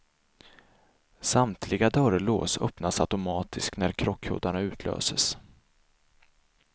Samtliga dörrlås öppnas automatiskt när krockkuddarna utlöses.